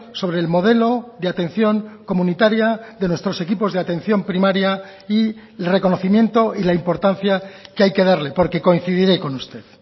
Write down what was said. sobre el modelo de atención comunitaria de nuestros equipos de atención primaria y el reconocimiento y la importancia que hay que darle porque coincidiré con usted